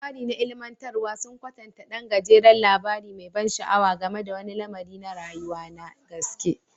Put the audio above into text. Labari na ilimantarwa sun kwatanta ɗan gajeren labari mai ban sha'awa game da wani lamari na rayuwa na gaske.